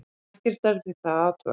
ekkert er við það að athuga